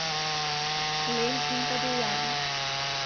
Len in podivjan.